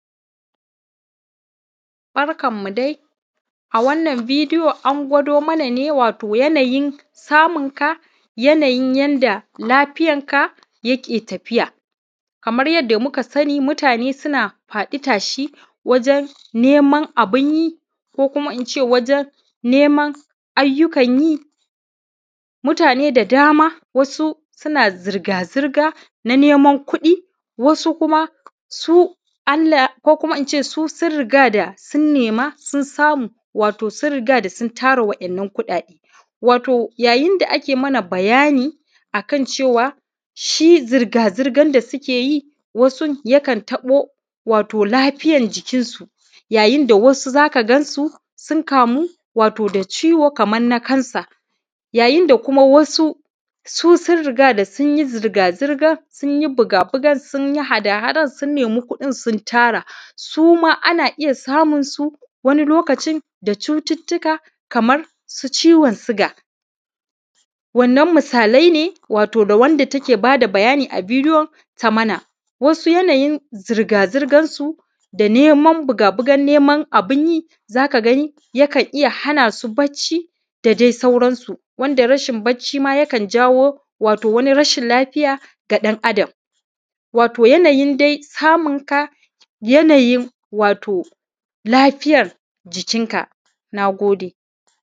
Barkanmu dai a wannan bidiyo an gwa:do mana ne wato yanayin samun ka, yanayin yanda lafiyarka yake tafiya. Kamar yadda muka sani, mutane suna faɗi tashi wajen neeman abun yi, ko kuma in ce wajen ne:man ayyukan yi, mutane da dama, wasu suna zirga-zirga ne:man kuɗi, wasu kuma su Allah, ko kuma in ce su sun riga da sun nema, sun sa:mu wato sun riga da sun tara waɗannan kuɗaɗe. Wato yayin da ake yin mana bayani akan cewa shi zirga-zirgan da suke yi, wasu yakan tabo wato lafiyar jikin su. yayin da wasu za ka gansu, sun kaamu da ciiwo wato kaman na kansa yayin da wasu su sun riga da sun yi zirga-zirgan, sun yi buga-bugar, sun yi haɗa-haɗan, sun ne:mi kuɗin, sun gyaara, suma ana iya saamunsu wani lo:kacin da cututtuka kamar su ci:won suga. Wannan misaalaa ne, wato ga wanda teke bada bayani a bidiyo, ta mana wasu yanayin zurga-zurgan su da neeman buga-bugan neeman abun yi, za ka ga ni yakan iya hana su bacci, da dai sauransu wanda rasin bacci ma yakan kaawo wato rasin lafiya ga ɗan-Adam. Wato da yanayin samu-n ka, yanayin wato lafiyar jikin-ka. Na gode.